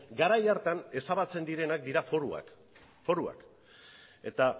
garai hartan ezabatzen direnak dira foruak eta